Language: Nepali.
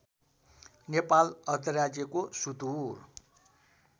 नेपाल अधिराज्यको सुदुर